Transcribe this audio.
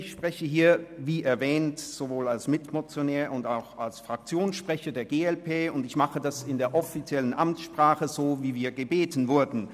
Ich spreche, wie erwähnt, sowohl als Mitmotionär als auch als Fraktionssprecher der glp, und ich tue dies in der offiziellen Amtssprache, so wie wir gebeten wurden.